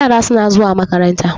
yara suna zuwa makaranta